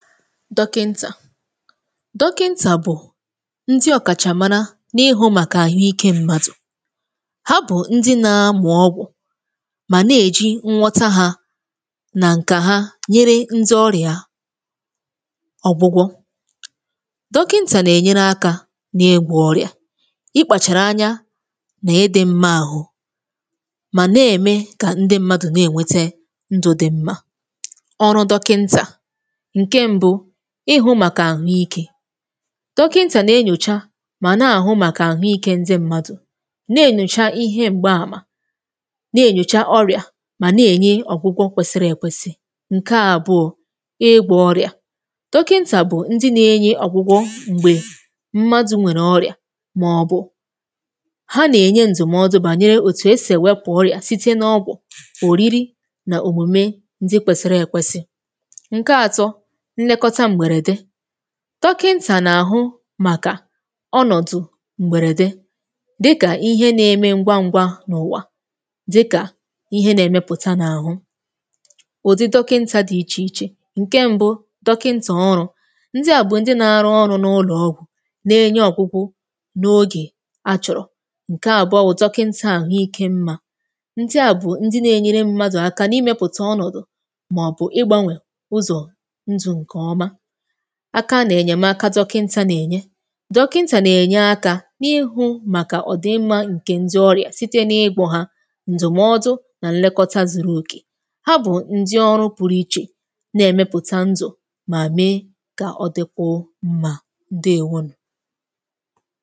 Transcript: dọkịntà bụ̀ ndị ọkàchà mara n’ihu màkà àhụikė mmadụ̀ ha bụ̀ ndị na-amụ̀ ọgwụ̀ mà na-èji nwọta hȧ nà ǹkà ha nyere ndị ọrịà ọ̀gwụgwọ̇ dọkịntà nà-ènyere akȧ n’egwò ọrịà ikpàchàrà anya nà edi mmȧ àhụ mà na-ème kà ndị mmadụ̀ na-ènwete ndụ̇ dị mmȧ ọrụ dọkịntà ịhụ̇ màkà àhụ ikė dọkịntà nà-enyòcha mà nà-àhụ màkà àhụ ikė ndị mmadụ̀ na-ènyòcha ihe m̀gbaàmà na-ènyòcha orị̀à mà na-ènye ọ̀gwụgwọ̇ kwesịrị èkwesị ǹke àbụọ ịgwọ̇ ọrịà dọkịntà bụ̀ ndị nà-enye ọ̀gwụgwọ̇ m̀gbè mmadụ̇ nwèrè ọrịà màọbụ̇ ha nà-ènye ndụ̀mọdụ̀ bànyere òtù esè wepà ọrịà site n’ọgwọ̀ òriri nà òmùme ndị kwèsị̀rị èkwesị dọkịntà nà-àhụ màkà ọnọ̀dụ̀ m̀gbèrède dịkà ihe na-eme ngwa ngwa n’ụ̀wà dịkà ihe nȧ-èmepụ̀ta n’àhụ ụ̀dị dọkịntà di ichè ichè ǹke mbu dọkịntà ọrụ̇ ndị à bụ̀ ndị nȧ-arụ ọrụ n’ụlọ̀ ọgwụ̀ na-enye ọ̀gwụgwụ n’ogè achọ̀rọ̀ ǹke àbụọ bụ̀ dọkịntà àhụike mmȧ ndị à bụ̀ ndị nȧ-enyere mmadụ̀ aka n’imėpụ̀tà ọnọ̀dụ̀ aka nà-ènyèmaka dọkịntà nà-ènye dọkịntà nà-ènye aka n’ịhụ̇ màkà ọ̀dịmmȧ ǹkè ndị ọrịa site n’ịgwọ̇ hà ndụ̀mọdụ̀ nà nlekọta zuru òkè ha bụ̀ ndị ọrụ pụrụ ichè na-èmepùta ndụ̀ mà mee kà ọ dịkwuo mmà ụdị èwunù